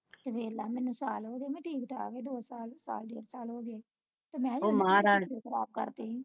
ਤੇ ਵੇਖਲਾ ਮੈਨੂੰ ਸਾਲ ਹੋ ਗਏ ਮੈਂ ਠੀਕ ਠਾਕ ਆ ਦੋ ਸਾਲ ਸਾਲ ਦੋ ਸਾਲ ਹੋ ਗਏ ਖਰਾਬ ਕਰਤੀ